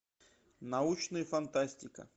научная фантастика